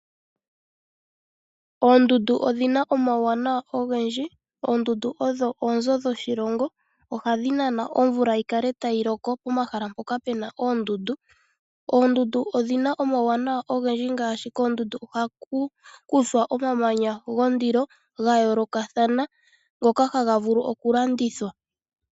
Oondundu odhina omawuwanawa ogendji. Oondundu odho oonzo dhoshilongo. Ohadhi nana omvula yikale tayi loko pomahala mpoka pena oondundu. Oondundu odhina omawuwanawa ogendji ngaashi koondundu ohaku kuthwa omamanya gondilo gayoolokathana ngoka haga vulu okulandithwa.